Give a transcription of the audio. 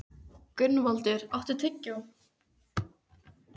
Gunnvaldur, áttu tyggjó?